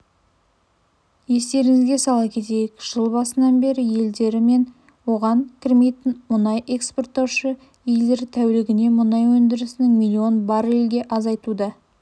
естеріңізге сала кетейік жыл басынан бері елдері мен оған кірмейтін мұнай экспорттаушы елдер тәулігіне мұнай өндірісін миллион баррельге азайтуда